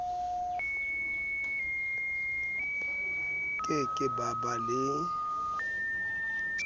ke ke ba ba le